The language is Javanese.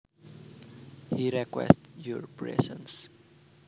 He requested your presence